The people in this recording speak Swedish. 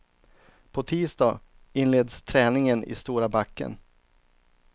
På tisdag inleds träningen i stora backen.